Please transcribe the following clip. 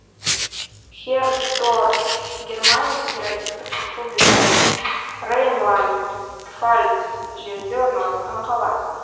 хердорф германия федеративтік республикасының рейнланд пфальц жерінде орналасқан қала